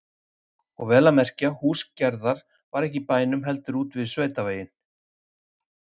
Og vel að merkja, hús Gerðar var ekki í bænum heldur úti við sveitaveginn.